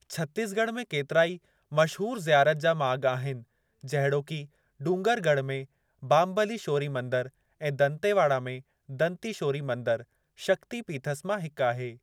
छत्तीसॻढ़ में केतिराई मशहूरु ज़ियारत जा माॻु आहिनि, जहिड़ोकि डूंगरुॻढ़ में बामबलीशोरी मंदरु ऐं दंतेव़ाडा में दंतीशोरी मंदरु, शक्ती पीथस मां हिकु आहे।